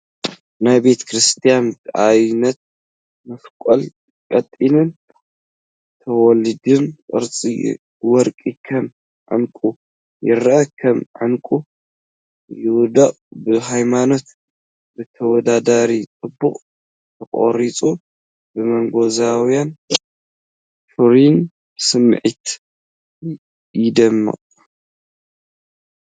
ናይ ቤተ ክርስትያን በብዓይነቱ መሳቕል ቀጢንን ተወላዲን ቅርጺ ወርቂ ከም ዕንቊ ይረአ፡ ከም ዕንቊ ይወድቕ። ብርሃኖም ብተወዳዳሪ ጽባቐ ተቐሪጹ፡ ብንጉሳውን ፍሩይን ስምዒት ይደምቕ።